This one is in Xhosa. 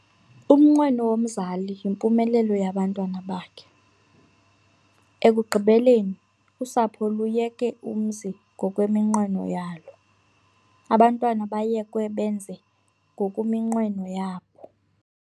Umnqweno womzali yimpumelelo yabantwana bakhe. ekugqibeleni usapho luyeke umzi ngokweminqweno yalo, abantwana bayekwe benze ngokuminqweno yabo